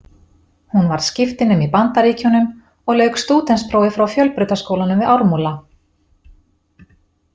Hún var skiptinemi í Bandaríkjunum og lauk stúdentsprófi frá Fjölbrautaskólanum við Ármúla.